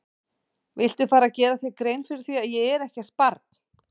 Viltu fara að gera þér grein fyrir því að ég er ekkert barn!